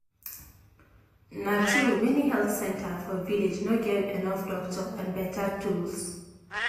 na true many health center for village no get enough doctor and better tools.